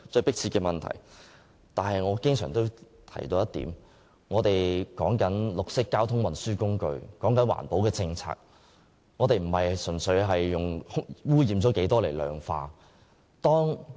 不過，我經常提出一點，便是我們就綠色交通運輸工具及環保政策的討論不應純粹將污染問題量化。